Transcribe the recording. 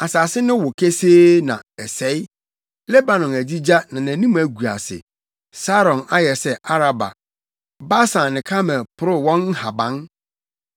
Asase no wo kesee na ɛsɛe, Lebanon agyigya na nʼanim agu ase; Saron ayɛ sɛ Araba, Basan ne Karmel porow wɔn nhaban.